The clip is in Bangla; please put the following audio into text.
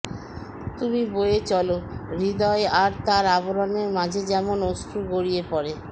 তুমি বয়ে চলো হৃদয় আর তার আবরণের মাঝে যেমন অশ্রু গড়িয়ে পড়ে